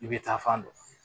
I bɛ taa fan dɔn